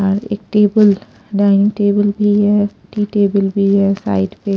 एक table dining table भी है एक टी टेबल भी है साइड पे।